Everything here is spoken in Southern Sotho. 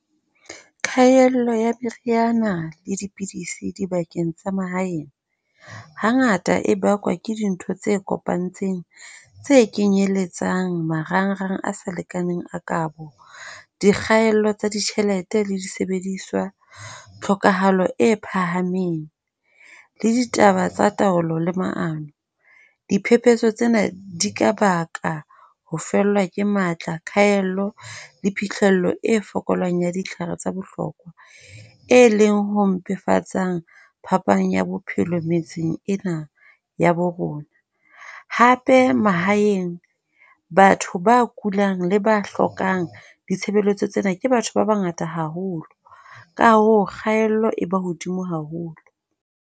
Kgaello ya meriana le dipidisi dibakeng tsa mahaeng hangata e bakwa ke dintho tse kopantseng, tse kenyeletsang marangrang a sa lekaneng a kabo. Dikgaello tsa ditjhelete le disebediswa, tlhokahalo e phahameng le ditaba tsa taolo le maano. Diphephetso tsena di ka baka ho fellwa ke matla, kgaelo le phihlello e fokolang ya ditlhare tsa bohlokwa. E leng ho mpefatsa phapang ya bophelo metseng ena ya borona. Hape mahaeng batho ba kulang le ba hlokang ditshebeletso tsena ke batho ba bangata haholo. Ka hoo kgaello e ba hodimo haholo.